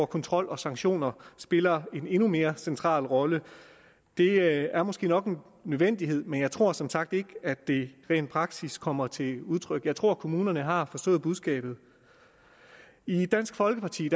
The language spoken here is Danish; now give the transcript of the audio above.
kontrol og sanktioner spiller en endnu mere central rolle det er måske nok en nødvendighed men jeg tror som sagt ikke at det rent praktisk kommer til udtryk jeg tror kommunerne har forstået budskabet i dansk folkeparti